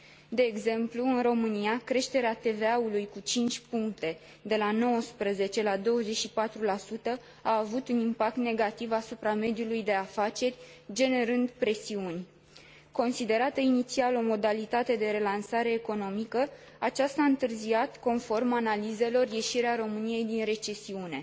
De exemplu, în România, creșterea TVA ului cu cinci puncte, de la 19 la 24, a avut un impact negativ asupra mediului de afaceri, generând presiuni. Considerată inițial o modalitate de relansare economică, aceasta a întârziat, conform analizelor, ieșirea României din recesiune